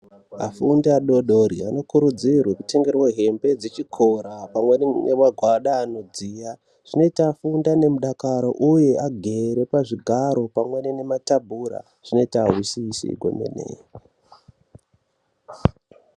Afundi adodori anokurudzirwe ku tengerwe hembe dze chikora pamweni ne magwada ano dziya zvinoita afunde ne mudakaro uye agere pa zvigaro pamweni ne matabhura zvinoita azwisisi kwemene.